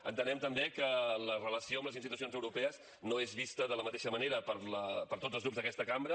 entenem també que la relació amb les institucions europees no és vista de la mateixa manera per tots els grups d’aquesta cambra